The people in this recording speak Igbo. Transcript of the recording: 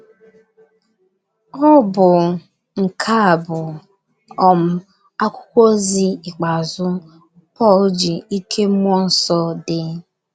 Ọ bụ nke a bụ um akwụkwọ ozi ikpeazụ Pọl ji ike mmụọ nsọ dee.